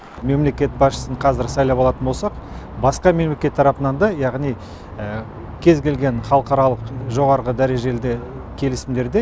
мемлекет басшысын қазір сайлап алатын болсақ басқа мемлекет тарапынан да яғни кез келген халықаралық жоғары дәрежелі келісімдерде